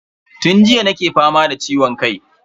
Tun jiya nake fama da ciwon kai.